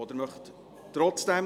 – Sie möchten dies trotzdem.